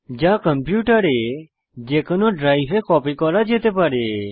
যা কম্পিউটারের যেকোনো ড্রাইভে কপি করা যেতে পারে